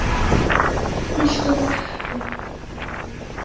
Helstu verkin eru